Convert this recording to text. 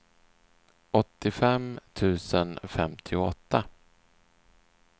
åttiofem tusen femtioåtta